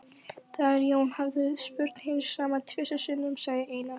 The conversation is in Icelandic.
Þegar Jón hafði spurt hins sama tvisvar sinnum sagði Einar